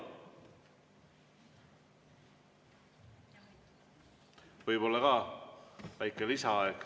Võib-olla ka väike lisaaeg?